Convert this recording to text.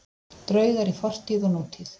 Draugar í fortíð og nútíð